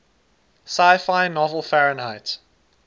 sci fi novel fahrenheit